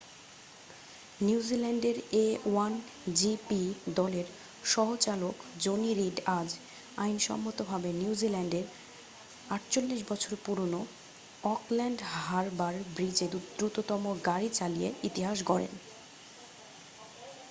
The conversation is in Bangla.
নিউজিল্যান্ডের a1gp দলের সহ-চালক জনি রিড আজ আইনসম্মতভাবে নিউজিল্যান্ডের 48 বছরের পুরনো অকল্যান্ড হারবার ব্রিজে দ্রুততম গাড়ি চালিয়ে ইতিহাস গড়েন